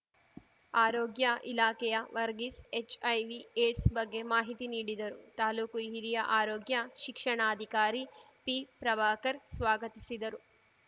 ಆರೋಗ್ಯ ಇಲಾಖೆಯ Varghese HIV AIDS ಬಗ್ಗೆ ಮಾಹಿತಿ ನೀಡಿದರು ತಾಲೂಕು ಹಿರಿಯ ಆರೋಗ್ಯ ಶಿಕ್ಷಣಾಧಿಕಾರಿ ಪಿಪ್ರಭಾಕರ್‌ ಸ್ವಾಗತಿಸಿದರು